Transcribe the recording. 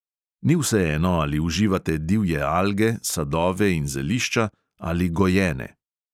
Ni vseeno, ali uživate divje alge, sadove in zelišča ali gojene.